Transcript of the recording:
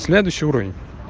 следующий уровень